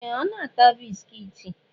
Ee! Ọ na-ata bisikiiti.